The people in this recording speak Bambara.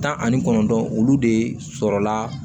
Tan ani kɔnɔntɔn olu de sɔrɔla